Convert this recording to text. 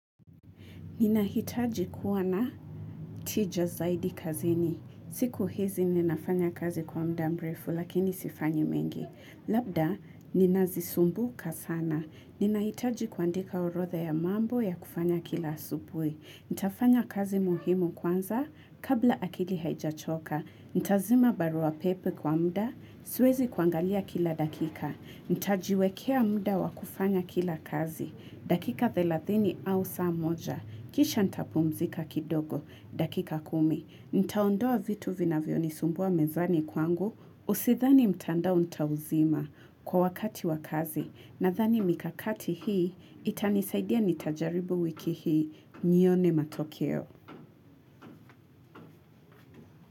Ninahitaji kuwa na tija zaidi kazini. Siku hizi ninafanya kazi kwa mda mrefu, lakini sifanyi mengi. Labda, ninazisumbuka sana. Ninahitaji kuandika orodha ya mambo ya kufanya kila asubuhi Nitafanya kazi muhimu kwanza, kabla akili haijachoka. Nitazima barua pepe kwa mda, suezi kuangalia kila dakika. Nitajiwekea mda wakufanya kila kazi. Dakika thelathini au saa moja. Kisha nitapumzika kidogo, dakika kumi, nitaondoa vitu vinavyo nisumbua mezani kwangu, usidhani mtandao nitauzima kwa wakati wakazi nadhani mikakati hii itanisaidia nitajaribu wiki hii nione matokeo.